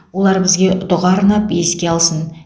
олар бізге дұға арнап еске алсын